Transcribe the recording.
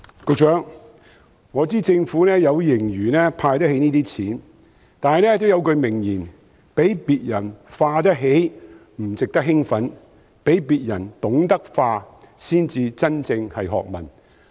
局長，我知道政府有盈餘，可以負擔"派錢"的開支，但有一句名言："比別人花得起不值得興奮，比別人懂得花才是真正學問"。